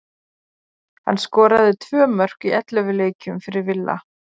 Hann skoraði tvö mörk í ellefu leikjum fyrir Villa.